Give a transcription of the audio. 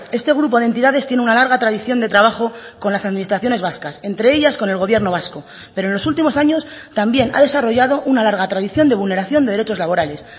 este grupo de entidades tiene una larga tradición de trabajo con las administraciones vascas entre ellas con el gobierno vasco pero en los últimos años también ha desarrollado una larga tradición de vulneración de derechos laborales